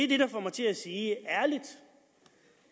det der får mig til at sige ærligt